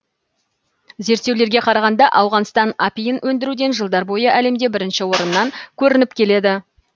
зерттеулерге қарағанда ауғанстан апиын өндіруден жылдар бойы әлемде бірінші орыннан көрініп келеді